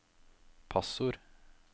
passord